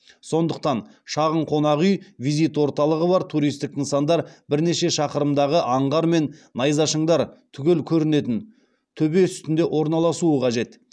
сондықтан шағын қонақүй визит орталығы бар туристік нысандар бірнеше шақырымдағы аңғар мен найзашыңдар түгел көрінетін төбе үстінде орналасуы қажет